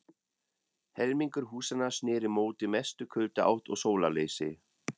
Helmingur húsanna sneri móti mestu kuldaátt og sólarleysi.